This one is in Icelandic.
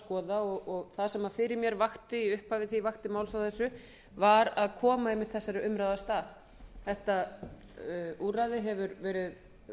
skoða og það sem fyrir mér vakti í upphafi þegar ég vakti máls á þessu var að koma einmitt þessari umræðu af stað þetta úrræði hefur verið